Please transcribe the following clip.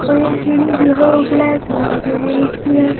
और ये सीडी जो है वो ब्लैक कलर है इसकी--